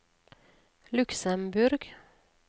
Luxemborg